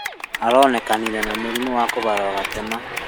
Aronekanire na mũrimũ wa kũharwa gatema